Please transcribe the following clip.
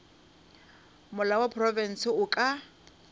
molao wa profense o ka